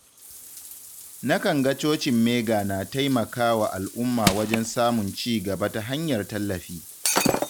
Na kan ga cocin Mega na taimaka wa al’umma wajen samun cigaba ta hanyar tallafi.